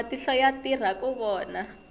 matihlo ya tirha ku vona